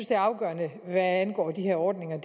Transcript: det afgørende hvad angår de her ordninger